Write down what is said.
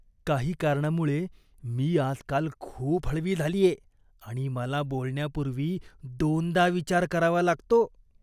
काही कारणामुळे मी आजकाल खूप हळवी झालीये आणि मला बोलण्यापूर्वी दोनदा विचार करावा लागतो.